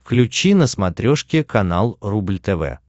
включи на смотрешке канал рубль тв